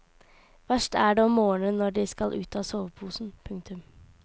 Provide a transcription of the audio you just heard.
Verst er det om morgenen når de skal ut av soveposen. punktum